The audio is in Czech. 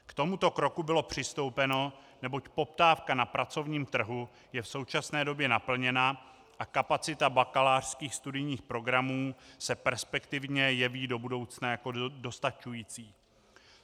K tomuto kroku bylo přistoupeno, neboť poptávka na pracovním trhu je v současné době naplněna a kapacita bakalářských studijních programů se perspektivně jeví do budoucna jako dostačující.